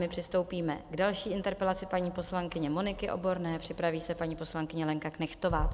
My přistoupíme k další interpelaci paní poslankyně Moniky Oborné, připraví se paní poslankyně Lenka Knechtová.